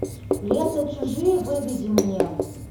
лента чужие выведи мне